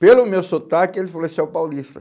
Pelo meu sotaque, ele falou, esse é o paulista.